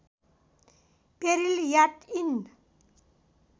peril याट end